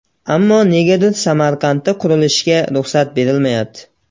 Ammo negadir Samarqandda qurilishga ruxsat berilmayapti.